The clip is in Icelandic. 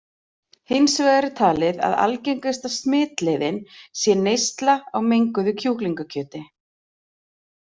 Hins vegar er talið að algengasta smitleiðin sé neysla á menguðu kjúklingakjöti.